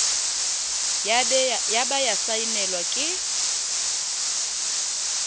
ya ba ya saenelwa ke